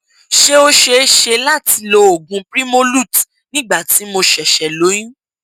ṣé ó ṣe é ṣe láti lo oògùn primolut n nígbà tí mo ṣẹṣẹ lóyún